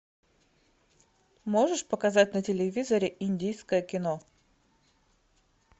можешь показать на телевизоре индийское кино